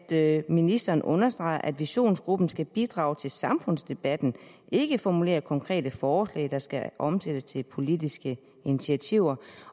at ministeren understreger at visionsgruppen skal bidrage til samfundsdebatten og ikke formulere konkrete forslag der skal omsættes til politiske initiativer